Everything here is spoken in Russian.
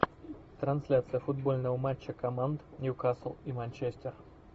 трансляция футбольного матча команд ньюкасл и манчестер